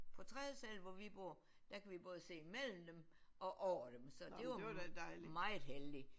På tredje sal hvor vi bor der kan vi både se mellem dem og over dem så var meget heldigt